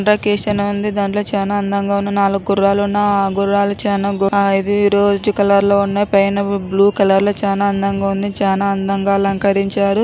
ఆంధ్రకేశన ఉంది. దాంట్లో చాన అందంగా ఉన్న నాలుగు గుర్రాలు ఉన్న ఆ గుర్రాలు చాన ఆ ఇది రోజ్ కలర్ లో సన్నాయి పైన వి బ్లూ కలర్ లో చాన అందంగా ఉంది. చాన అందంగా అలంకరించారు.